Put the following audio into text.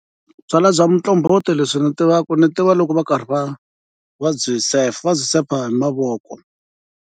Byalwa bya muqombhoti leswi ni tivaka ni tiva loko va karhi va, va byi sefa va byi sefa hi mavoko.